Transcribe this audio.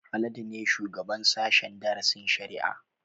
Haladu ne shugaban sashen darasin shari'a